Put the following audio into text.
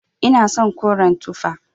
Ina son koren tufa.